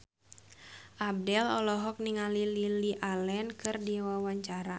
Abdel olohok ningali Lily Allen keur diwawancara